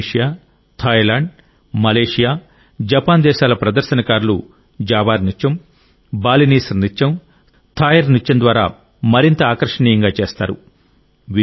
Indonesia Thailand Malaysia Japan దేశాల ప్రదర్శనకారులు Java నృత్యం బాలినీస్ నృత్యం థాయ్ నృత్యం ద్వారా మరింత ఆకర్షణీయంగా చేస్తారు